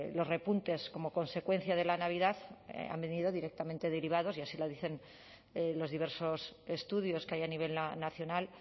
los repuntes como consecuencia de la navidad han venido directamente derivados y así lo dicen los diversos estudios que hay a nivel nacional